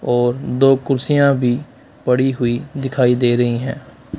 और दो कुर्सियाँ भी पड़ी हुई दिखाई दे रही है।